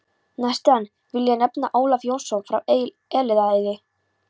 Næstan vil ég nefna Ólaf Jónsson frá Elliðaey.